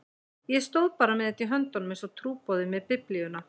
Ég stóð bara með þetta í höndunum einsog trúboði með Biblíuna.